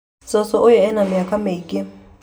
Cũcũ ũyũ ena mĩaka mĩingĩ